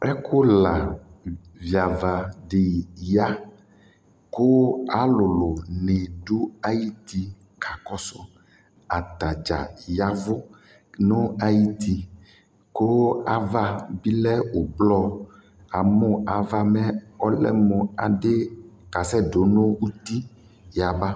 Ɛkʋla viava dɩ ya kʋ alʋlʋnɩ dʋ ayuti kakɔsʋ Ata dza ya ɛvʋ nʋ ayuti kʋ ava bɩ lɛ ʋblɔ Amʋ ava mɛ ɔlɛ mʋ adɩ kasɛdʋ nʋ uti yaba